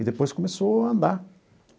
E depois começou a andar.